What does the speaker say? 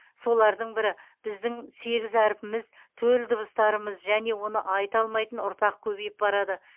солардың бірі біздің сегіз әрпіміз төл дыбыстарымыз және оны айта алмайтын ұрпақ көбейіп барады